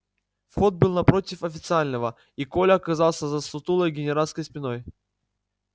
вход был напротив официального и коля оказался за сутулой генеральской спиной